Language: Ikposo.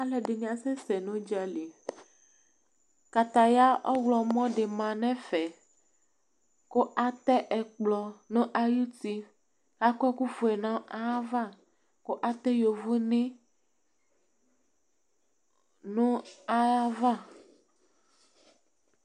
ɔlɔdi ni asɛsɛ nu udjali Kataya ɔwlɔ mɔ di ma nɛ fɛ Ku atɛ ɛkplɔ nu ayuti akɔ ɛku fué nɑɑ va Ku atɛ yóvoné nu ayava